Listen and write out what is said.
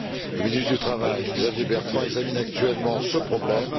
Le ministre du travail, Xavier Bertrand, examine actuellement ce problème.